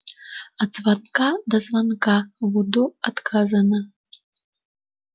от звонка до звонка в удо отказано